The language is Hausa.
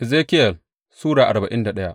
Ezekiyel Sura arba'in da daya